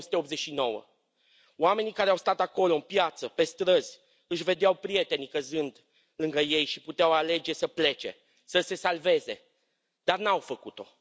1989. Oamenii care au stat acolo, în piață, pe străzi, își vedeau prietenii căzând lângă ei și puteau alege să plece, să se salveze, dar nu au făcut o.